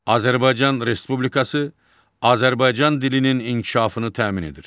Azərbaycan Respublikası Azərbaycan dilinin inkişafını təmin edir.